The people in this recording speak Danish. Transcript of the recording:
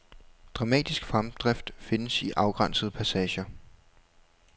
Dramatisk fremdrift findes i afgrænsede passager.